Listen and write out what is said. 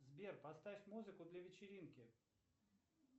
сбер поставь музыку для вечеринки